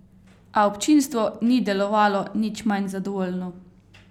A občinstvo ni delovalo nič manj zadovoljno.